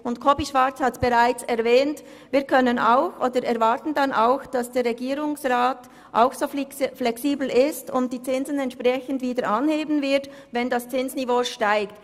Wie Grossrat Schwarz bereits erwähnt hat, erwarten wir dann auch, dass der Regierungsrat so flexibel ist und die Zinsen entsprechend wieder anheben wird, wenn das Zinsniveau steigt.